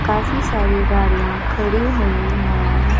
काफी सारी गाड़ियां खड़ी हुई हैं।